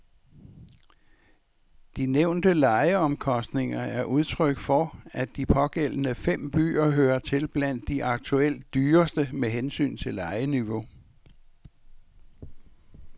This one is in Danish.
De ovennævnte lejeomkostninger er udtryk for, at de pågældende fem byer hører til blandt de aktuelt dyreste med hensyn til lejeniveau.